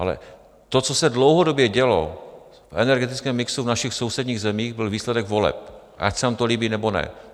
Ale to, co se dlouhodobě dělo v energetickém mixu v našich sousedních zemích, byl výsledek voleb, ať se nám to líbí, nebo ne.